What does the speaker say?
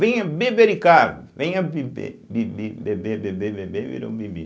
Venha bebericar, venha bibe, bibi, beber, beber, beber, virou bibi.